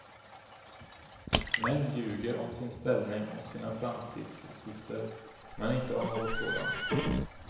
Män ljuger om sin ställning och sina framtidsutsikter, men inte om något sådant.